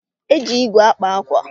Eji ígwè akpa àkwà